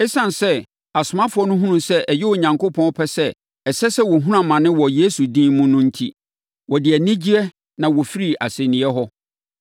Esiane sɛ asomafoɔ no hunuu sɛ ɛyɛ Onyankopɔn pɛ sɛ ɛsɛ sɛ wɔhunu amane wɔ Yesu din mu no enti, wɔde anigyeɛ na wɔfirii asɛnniiɛ hɔ.